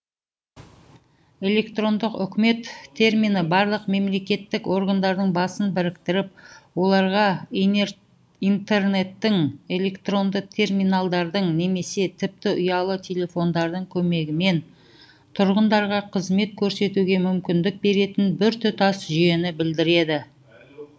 электрондық үкімет термині барлық мемлекеттік органдардың басын біріктіріп оларға интернеттің электронды терминалдардың немесе тіпті ұялы телефондардың көмегімен тұрғындарға қызмет көрсетуге мүмкіндік беретін біртұтас жүйені білдіреді